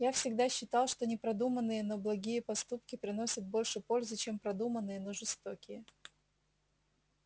я всегда считал что непродуманные но благие поступки приносят больше пользы чем продуманные но жестокие